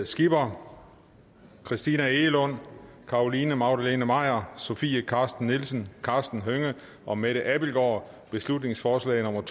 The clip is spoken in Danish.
skipper christina egelund carolina magdalene maier sofie carsten nielsen karsten hønge og mette abildgaard beslutningsforslag nummer